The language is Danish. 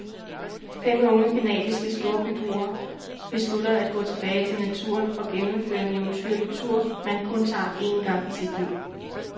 Fem unge canadiske storbyboer beslutter at gå tilbage til naturen og gennemføre en eventyrlig tur, man kun tager én gang i sit liv.